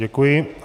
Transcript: Děkuji.